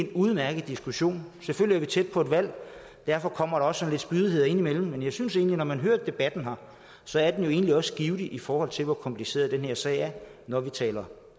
en udmærket diskussion selvfølgelig er vi tæt på et valg og derfor kommer der også lidt spydigheder indimellem men jeg synes at debatten man har hørt her egentlig også er givtig i forhold til hvor kompliceret en sag det er når vi taler